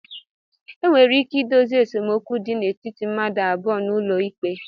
Enwere ike ịdozi esemokwu dị n'etiti mmadụ abụọ n'ụlọ ikpe